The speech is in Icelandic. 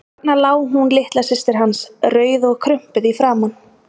Þarna lá hún litla systir hans, rauð og krumpuð í framan.